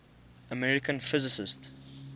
american physicists